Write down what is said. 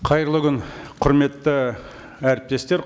қайырлы күн құрметті әріптестер